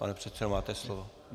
Pane předsedo, máte slovo.